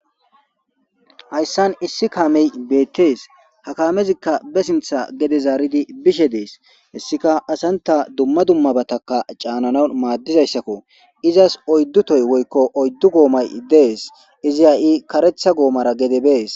Hayssan issi kaamey beettes. Ha kaamezikka be sinththa gede zaaridi bishe deesi. Hessika asantanne dumma dummabatakka caananaw maadizaysako. Izas oyddu tohoy woykko oyddu goomay de'es. Izi ha'i kareththa goommaragede bees.